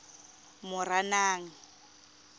moranang